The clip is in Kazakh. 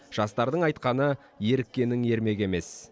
жастардың айтқаны еріккеннің ермегі емес